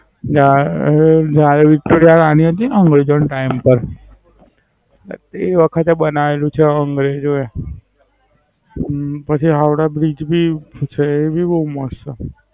એટલે આ આહ જયારે વિક્ટોરિયા રાણી હતી અંગ્રેજો ના ટાઇમ પર. તે વખતે બનાવેલું છે અંગ્રેજોએ. અમ પછી હાવડા Bridge ભી એ ભી બવ મસ્ત.